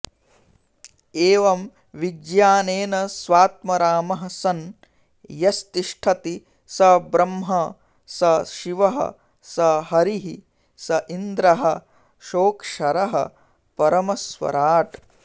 एवं विज्ञानेन स्वात्मरामः सन् यस्तिष्ठति स ब्रह्म स शिवः स हरिः सेन्द्रः सोऽक्षरः परमस्वराट्